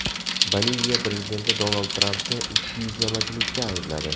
Boliviya prezidenti Donald Trampni ikkiyuzlamachilikda aybladi.